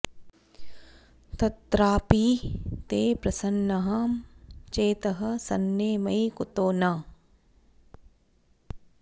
तत्रापि ते प्रसन्नं चेतः सन्ने मयि कुतो न